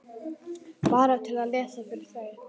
Bara til að lesa fyrir þau.